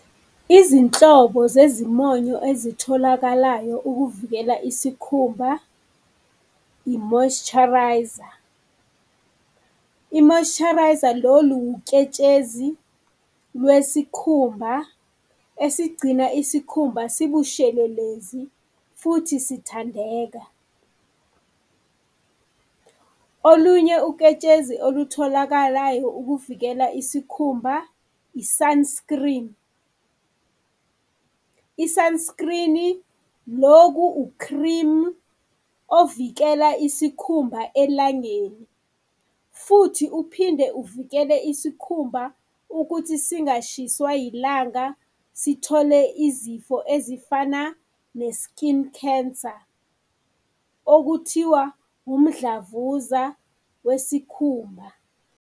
Izinhlobo zezimonyo ezitholakalayo ukuvikela isikhumba, i-moisturiser. I-moisturiser lolu uketshezi lwesikhumba esigcina isikhumba sibushelelezi futhi sithandeka. Olunye uketshezi olutholakalayo ukuvikela isikhumba i-sunscreen. I-sunscreen-i loku u-cream ovikeleka isikhumba elangeni futhi uphinde uvikele isikhumba ukuthi singashiswa ilanga sithole izifo ezifana ne-skin cancer, okuthiwa umdlavuza wesikhumba.